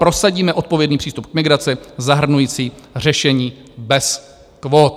prosadíme odpovědný přístup k migraci zahrnující řešení bez kvót.